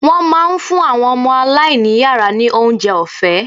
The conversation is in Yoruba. Wọ́n máa ń fún àwọn ọmọ aláìní yàrá ní oúnjẹ ọ̀fẹ́.